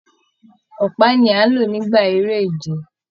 Ọpa ní a n ló nígbà eré ìje.